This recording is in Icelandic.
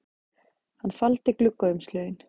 Hann faldi gluggaumslögin